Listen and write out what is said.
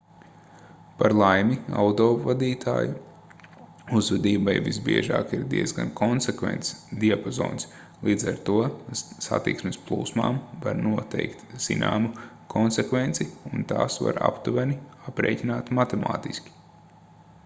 par laimi autovadītāju uzvedībai visbiežāk ir diezgan konsekvents diapazons līdz ar to satiksmes plūsmām var noteikt zināmu konsekvenci un tās var aptuveni aprēķināt matemātiski